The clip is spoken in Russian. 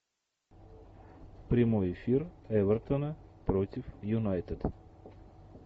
прямой эфир эвертона против юнайтед